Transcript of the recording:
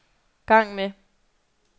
gang med